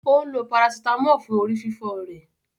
Ó ń lo parasítámọ̀ fún orí fífọ́ rẹ̀.